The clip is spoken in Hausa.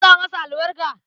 Zan sa masa albarka.